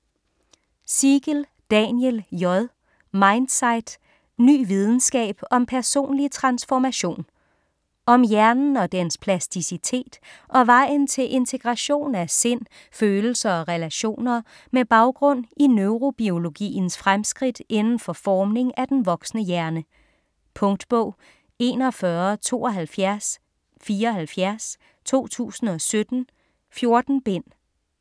Siegel, Daniel J.: Mindsight: ny videnskab om personlig transformation Om hjernen og dens plasticitet og vejen til integration af sind, følelser og relationer, med baggrund i neurobiologiens fremskridt inden for formning af den voksne hjerne. Punktbog 417274 2017. 14 bind.